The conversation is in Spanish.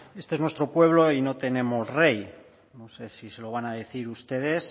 este es nuestro pueblo y no tenemos rey no sé si se lo van a decir ustedes